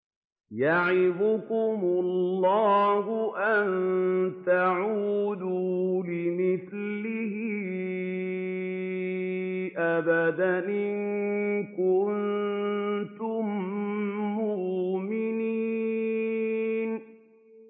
يَعِظُكُمُ اللَّهُ أَن تَعُودُوا لِمِثْلِهِ أَبَدًا إِن كُنتُم مُّؤْمِنِينَ